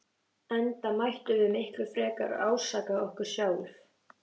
Enda mættum við miklu frekar ásaka okkur sjálf.